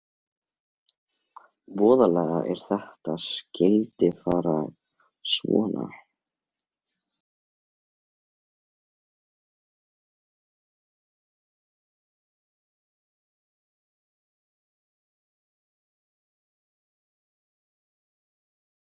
Viltu ekki fá þér sæti og hinkra eftir honum?